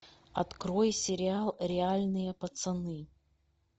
открой сериал реальные пацаны